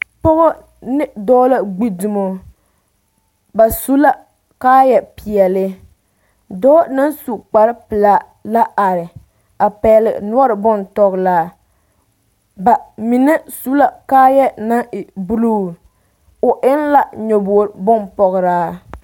Pɔgɔ ne dɔɔ gbi dumo ba su la kaayɛ peɛle dɔɔ naŋ su kpar pelaa la are a pɛgele noɔreŋ bontɔgelaa ba mine su la kaayɛ naŋ e buluu o eŋ la nyɔboo bompɔgeraa